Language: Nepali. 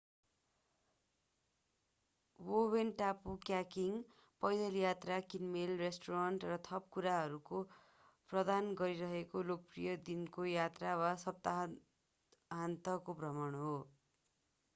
बोवेन टापु कायाकिङ पैदल यात्रा किनमेल रेस्टुरेन्ट र थप कुराहरू प्रदान गरिरहेको लोकप्रिय दिनको यात्रा वा सप्ताहान्तको भ्रमण हो